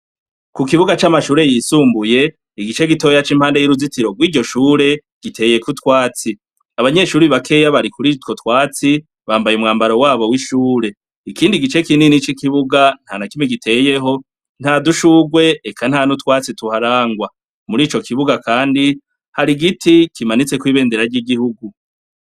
Kukibuga c'amashuri yisumbuye igice gitoya c'impande yuruzitiro gw'iryoshure giteyeko utwatsi. Abanyeshure bakeya bari kurutwotwatsi bambaye umwambaro wabo w'ishuri. Ikindi gice kinini c'ikibuga ntanakimwe giteyeho; ntadushurwe eka ntanutwatsi tuharangwa. Mur'icokibuga kandi har'igiti kimanitseko ibendera ry'Igihugu.